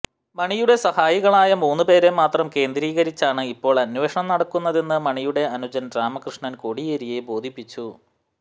മണിയുടെ സഹായികളായ മൂന്നു പേരെ മാത്രം കേന്ദ്രീകരിച്ചാണ് ഇപ്പോൾ അന്വേഷണം നടക്കുന്നതെന്ന് മണിയുടെ അനുജൻ രാമകൃഷ്ണൻ കോടിയേരിയെ ബോധിപ്പിച്ചു